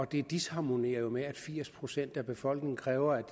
det disharmonerer jo med at firs procent af befolkningen kræver at